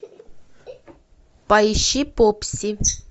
поищи попси